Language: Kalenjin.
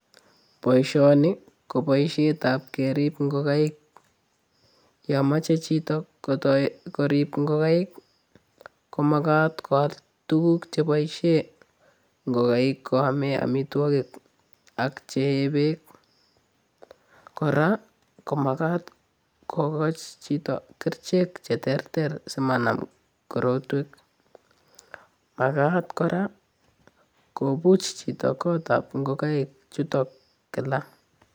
Boisioni ko boisietab kerip ingogaik. Yon moche chito kotoi korip ingogaik, komagat koal tuguk cheboisie ngogaik koame amitwogik ak chee beek. Kora ko magat kogochi chito kerichek cheterter simanam korotwek. Magat kora kopuch chito kotab ingogaik chuton kila.